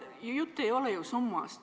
Jutt ei ole ju summast.